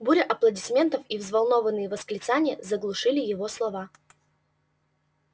буря аплодисментов и взволнованные восклицания заглушили его слова